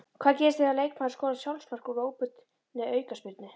Hvað gerist ef leikmaður skorar sjálfsmark úr óbeinni aukaspyrnu?